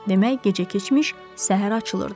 Demək, gecə keçmiş, səhər açılırdı.